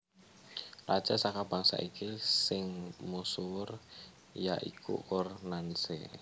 Raja saka bangsa iki sing musuwur ya iku Ur Nanshe